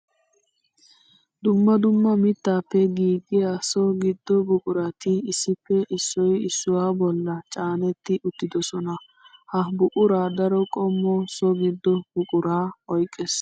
Dumma dumma mittappe giiggiya so gido buquratti issippe issoy issuwa bolla caanetti uttidosonna. Ha buqura daro qommo so gido buqura oyqqiis